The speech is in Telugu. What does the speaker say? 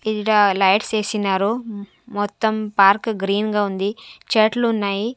ఈడ లైట్స్ ఏసినారు మొత్తం పార్క్ గ్రీన్ గా ఉంది చెట్లు ఉన్నాయి.